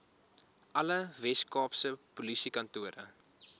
alle weskaapse polisiekantore